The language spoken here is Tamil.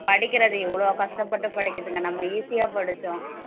படிக்கிறது இவ்வளவு கஷ்டப்பட்டு படிக்கிறதுங்க நம்ம easy ஆ படிச்சோம்